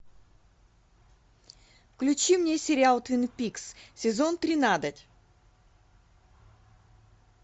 включи мне сериал твин пикс сезон тринадцать